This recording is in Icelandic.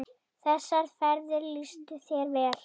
Þessar ferðir lýstu þér vel.